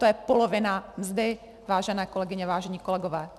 To je polovina mzdy, vážené kolegyně, vážení kolegové!